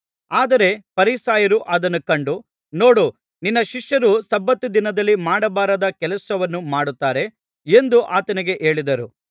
ಆದರೆ ಫರಿಸಾಯರು ಅದನ್ನು ಕಂಡು ನೋಡು ನಿನ್ನ ಶಿಷ್ಯರು ಸಬ್ಬತ್ ದಿನದಲ್ಲಿ ಮಾಡಬಾರದ ಕೆಲಸವನ್ನು ಮಾಡುತ್ತಾರೆ ಎಂದು ಆತನಿಗೆ ಹೇಳಿದರು